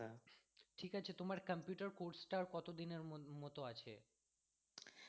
ঠিক আছে তোমার computer course টা কত দিনের মত আছে।